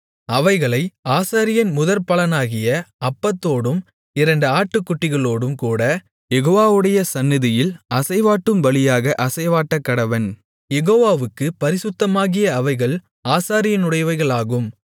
அவைகளை ஆசாரியன் முதற்பலனாகிய அப்பத்தோடும் இரண்டு ஆட்டுக்குட்டிகளோடுங்கூட யெகோவாவுடைய சந்நிதியில் அசைவாட்டும் பலியாக அசைவாட்டக்கடவன் யெகோவாவுக்குப் பரிசுத்தமாகிய அவைகள் ஆசாரியனுடையவைகளாகும்